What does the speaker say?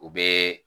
U bɛɛ